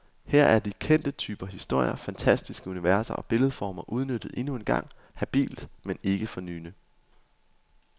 Her er de kendte typer historier, fantastiske universer og billedformer udnyttet endnu en gang, habilt men ikke fornyende.